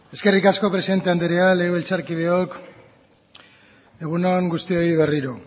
eskerrik asko presidente anderea legebiltzarkideok egun on guztioi berriro